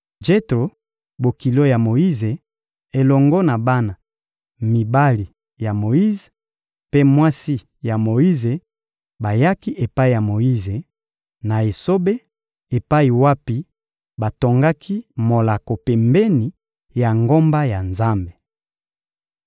Jetro, bokilo ya Moyize, elongo na bana mibali ya Moyize mpe mwasi ya Moyize bayaki epai ya Moyize, na esobe epai wapi batongaki molako pembeni ya ngomba ya Nzambe.